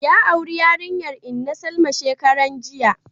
Ya auri yarinyar inna Salma shekaran jiya